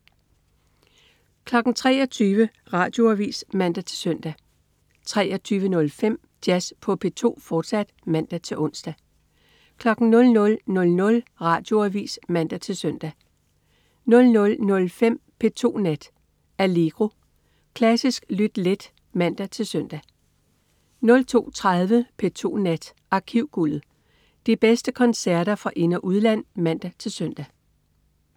23.00 Radioavis (man-søn) 23.05 Jazz på P2, fortsat (man-ons) 00.00 Radioavis (man-søn) 00.05 P2 Nat. Allegro. Klassisk lyt let (man-søn) 02.30 P2 Nat. Arkivguldet. De bedste koncerter fra ind- og udland (man-søn)